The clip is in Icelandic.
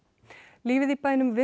lífið í bænum